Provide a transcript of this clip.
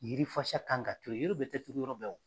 Yiri fasa kan ka kɛ yen. Yiri bɛɛ te turu yɔrɔ bɛɛ.